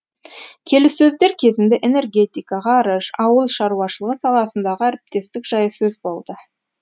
келіссөздер кезінде энергетика ғарыш ауыл шаруашылығы саласындағы әріптестік жайы сөз болды